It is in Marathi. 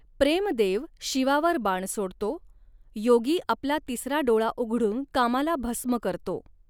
प्रेम देव शिवावर बाण सोडतो, योगी आपला तिसरा डोळा उघडून कामाला भस्म करतो.